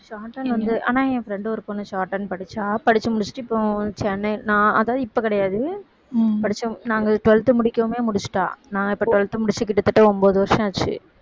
shorthand வந்து ஆனா என் friend ஒரு பொண்ணு shorthand படிச்சா படிச்சு முடிச்சுட்டு இப்போ சென்னை நான் அதான் இப்ப கிடையாது படிச்சோம் நாங்க twelfth முடிக்கவுமே முடிச்சிட்டா நான் இப்ப twelfth முடிச்சு கிட்டத்தட்ட ஒன்பது வருஷம் ஆச்சு